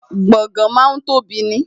Gbọ̀ngán máa ń tóbi ni